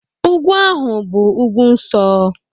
Ugwu ahụ bụ ugwu nsọ